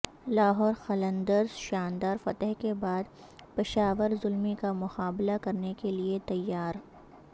لاہور قلندرز شاندار فتح کے بعد پشاور زلمی کا مقابلہ کرنے کے لئے تیار